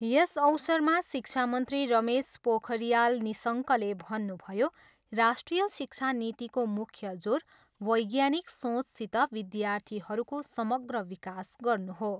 यस अवसरमा शिक्षामन्त्री रमेश पोखरियाल निशङ्कले भन्नुभयो, राष्ट्रिय शिक्षा नीतिको मुख्य जोर वैज्ञानिक सोचसित विद्यार्थीहरूको समग्र विकास गर्नु हो।